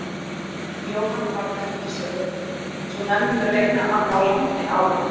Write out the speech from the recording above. Jóhanna Margrét Gísladóttir: Svo menn munu reyna að ná landi af okkur?